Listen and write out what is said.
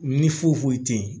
Ni foyi foyi te yen